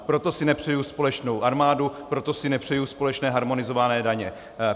Proto si nepřeji společnou armádu, proto si nepřeju společné harmonizované daně.